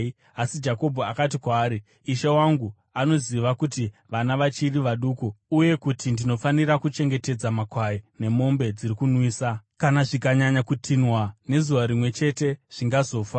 Asi Jakobho akati kwaari, “Ishe wangu anoziva kuti vana vachiri vaduku uye kuti ndinofanira kuchengetedza makwai nemombe dziri kunwisa. Kana zvikanyanya kutinhwa nezuva rimwe chete, zvingazofa.